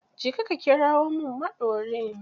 Je ka ka kirawo min maɗorin